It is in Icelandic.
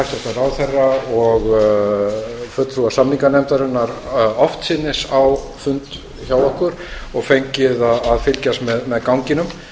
hæstvirtan ráðherra og fulltrúa samninganefndarinnar oftsinnis á fund hjá okkur og fengið að fylgjast með ganginum